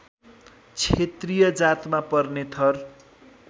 क्षेत्रीय जातमा पर्ने थर